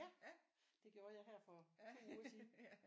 Ja det gjorde jeg har for 2 uger siden